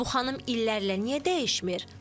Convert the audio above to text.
Bu xanım illərlə niyə dəyişmir?